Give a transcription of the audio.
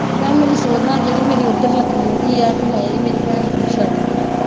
ਮੈਂ ਕਿਹਾ ਮੇਰੀ ਸੋਧਣਾ ਜਿਹੜੀ ਮੇਰੀ ਉੱਧਰ ਲੱਗੀ ਰਹਿੰਦੀ ਹੈ ਬਈ ਹਾਏ ਮੇਰੀ ਭੈਣ ਮੈਨੂੰ ਛੱਡ ਗਈ